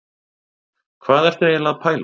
Hvað ertu eiginlega að pæla?